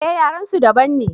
eh yaren su daban ne